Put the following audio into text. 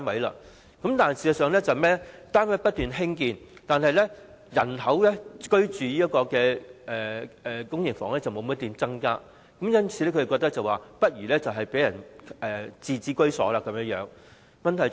然而，事實上單位不斷興建，但在公營房屋居住的人口卻沒有增加，政府因而覺得不如讓市民擁有自置居所更好。